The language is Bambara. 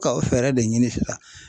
Ka o fɛɛrɛ de ɲini sisan